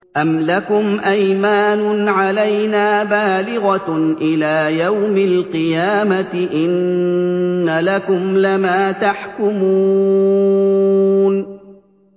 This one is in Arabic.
أَمْ لَكُمْ أَيْمَانٌ عَلَيْنَا بَالِغَةٌ إِلَىٰ يَوْمِ الْقِيَامَةِ ۙ إِنَّ لَكُمْ لَمَا تَحْكُمُونَ